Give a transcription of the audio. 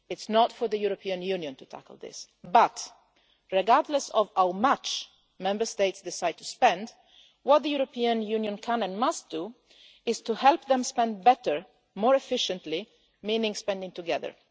It is not for the European Union to tackle this. But, regardless of how much Member States decide to spend, what the European Union can and must do is help them spend better and more efficiently, which means spending together.